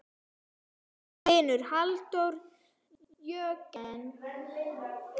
Þinn vinur, Halldór Jörgen.